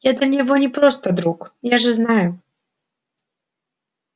я для него не просто друг я же знаю